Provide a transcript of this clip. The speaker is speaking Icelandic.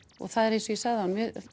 og eins og ég sagði áðan þá